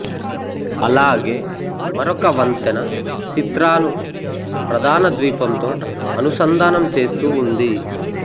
అలాగే మరొక వంతెన సిత్రాను ప్రధాన ద్వీపంతో అనుసంధానంచేస్తూ ఉంది